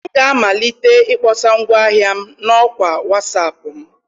M ga-amalite ịkpọsa ngwaahịa m na ọkwa Wasap m.